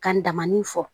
Kan damani fɔ